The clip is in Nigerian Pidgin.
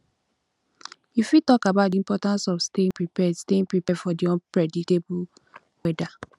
you fit talk about di importance of staying prepared staying prepared for di unpredictable weather